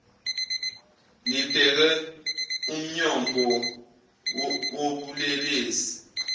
nibheke umnyombo wobulelesi